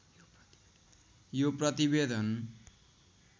यो प्रतिवेदन